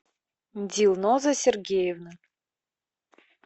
дилноза сергеевна